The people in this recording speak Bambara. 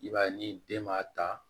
I b'a ye ni den ma ta